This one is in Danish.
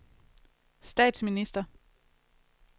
statsminister